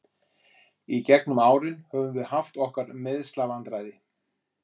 Í gegnum árin höfum við haft okkar meiðslavandræði.